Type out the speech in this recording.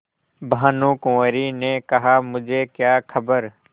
भानुकुँवरि ने कहामुझे क्या खबर